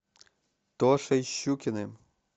тошей щукиным